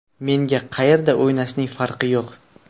Menga qayerda o‘ynashning farqi yo‘q.